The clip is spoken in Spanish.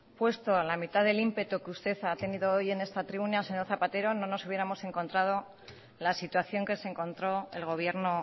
puesto la mitad del ímpetu que usted ha tenido hoy en esta tribuna señor zapatero no nos hubiéramos encontrado la situación que se encontró el gobierno